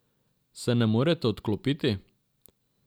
Se ne morete odklopiti?